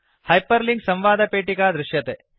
hyperlink संवादपेटिका दृश्यते